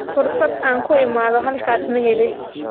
Fursad aan ku imaado halkaas maan helin